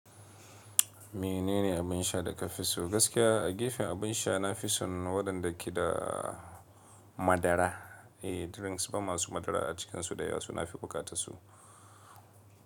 Menene abin sha da ka fi so? Gaskiya a gefen abin sha na fi son waɗanda ke da madara. Drinks ban masu madara acikinsu dayawa nafi buƙatar su.